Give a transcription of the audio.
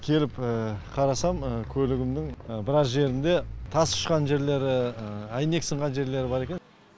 келіп қарасам көлігімнің біраз жерінде тас ұшқан жерлері әйнек сынған жерлері бар екен